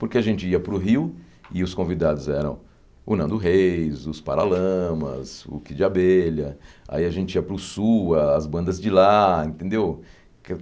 Porque a gente ia para o Rio, e os convidados eram o Nando Reis, os Paralamas, o Kid Abelha, aí a gente ia para o Sul, as bandas de lá, entendeu?